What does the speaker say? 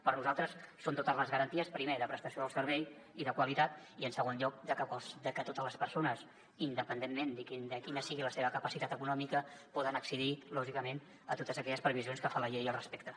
per nosaltres són totes les garanties primer de prestació del servei i de qualitat i en segon lloc de que totes les persones independentment de quina sigui la seva capacitat econòmica poden accedir lògicament a totes aquelles previsions que fa la llei al respecte